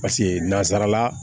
Paseke nanzarala